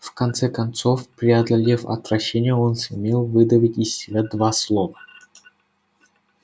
в конце концов преодолев отвращение он сумел выдавить из себя два слова